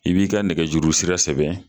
I b'i ka nɛgɛjurusira sɛbɛn